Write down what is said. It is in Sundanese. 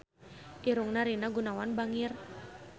Irungna Rina Gunawan bangir